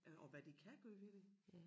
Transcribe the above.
Øh og hvad de kan gøre ved det